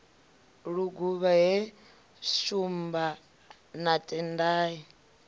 luguvha he shumba na tendai